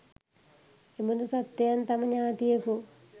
එබඳු සත්වයන් තම ඥාතියකු